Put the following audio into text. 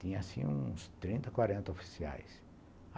Tinha, assim, uns trinta, quarenta oficiais.